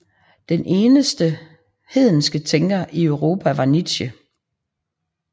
Den eneste hedenske tænker i Europa var Nietzsche